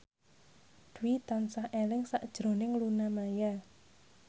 Dwi tansah eling sakjroning Luna Maya